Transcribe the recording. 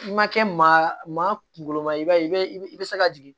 I ma kɛ maa kunkolo ma i b'a ye i bɛ i bɛ se ka jigin